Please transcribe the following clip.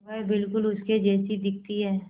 वह बिल्कुल उसके जैसी दिखती है